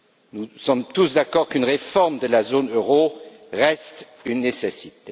Nous sommes tous d'accord qu'une réforme de la zone euro reste une nécessité.